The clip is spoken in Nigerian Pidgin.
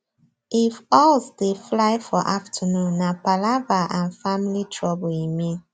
if owls dey fly for afternoon nah palava an family trouble e mean